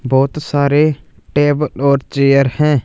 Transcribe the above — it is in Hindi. बहुत सारे टेबल और चेयर हैं।